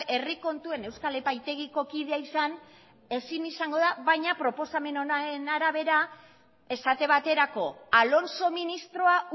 herri kontuen euskal epaitegiko kidea izan ezin izango da baina proposamen honen arabera esate baterako alonso ministroa